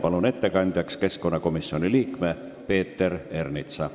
Palun ettekandjaks keskkonnakomisjoni liikme Peeter Ernitsa!